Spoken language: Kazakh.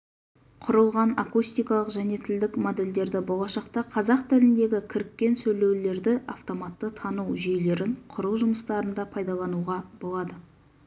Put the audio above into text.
құрылған акустикалық және тілдік модельдерді болашақта қазақ тіліндегі кіріккен сөйлеулерді автоматты тану жүйелерін құру жұмыстарында пайдалануға болады